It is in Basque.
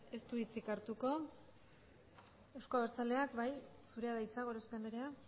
ez du hitzik hartuko euzko abertzaleak bai zurea da hitza gorospe andrea